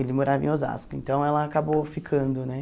Ele morava em Osasco, então ela acabou ficando, né?